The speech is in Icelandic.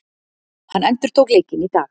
Hann endurtók leikinn í dag